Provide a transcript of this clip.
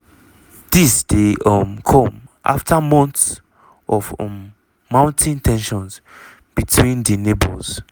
dis dey um come after months um of mounting ten sions between di neighbours.